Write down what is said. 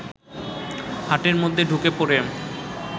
হাটের মধ্যে ঢুকে পড়ে